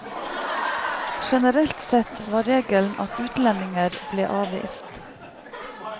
Generelt sett var regelen at utlendinger ble avvist.